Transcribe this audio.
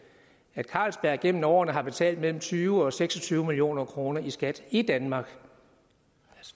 at carlsberg igennem årene har betalt mellem tyve og seks og tyve million kroner i skat i danmark